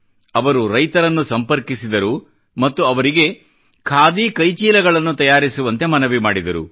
ಅವರು ರೈತರನ್ನು ಸಂಪರ್ಕಿಸಿದರು ಮತ್ತು ಅವರಿಗೆ ಖಾದಿ ಕೈಚೀಲಗಳನ್ನು ತಯಾರಿಸುವಂತೆ ಮನವಿ ಮಾಡಿದರು